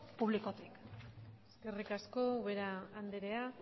publikotik eskerrik asko ubera andrea